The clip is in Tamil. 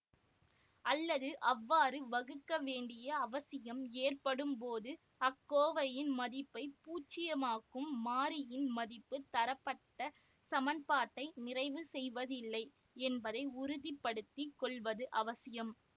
அல்லது அவ்வாறு வகுக்க வேண்டிய அவசியம் ஏற்படும்போது அக்கோவையின் மதிப்பை பூச்சியமாக்கும் மாறியின் மதிப்பு தரப்பட்டச் சமன்பாட்டை நிறைவு செய்வதில்லை என்பதை உறுதி படுத்தி கொள்வது அவசியம்